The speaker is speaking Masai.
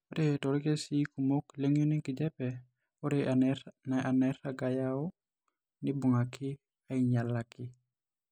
Ore toorkesii kumok leng'ion enkijiape, ore enairag nayau neibung'aki ainyialaki.